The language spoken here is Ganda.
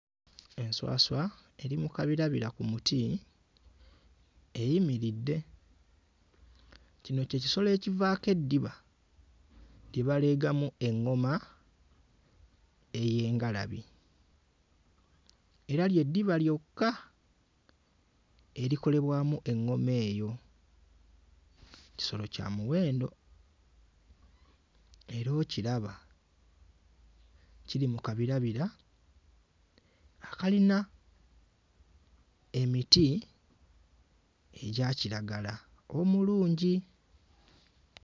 Enswaswa eri mu kabirabira ku muti eyimiridde, kino ky'ekisolo ekivaako eddiba lye baleegamu eŋŋoma ey'engalabi era ly'eddiba lyokka erikolebwamu eŋŋoma eyo, kisolo kya muwendo era okiraba kiri mu kabirabira akalina emiti egya kiragala omulungi.